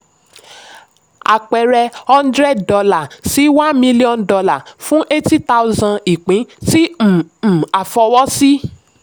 àpẹẹrẹ: hundred dollar si one million dollar fún eighty thousand ìpín tí um um à fọwọ́ sí.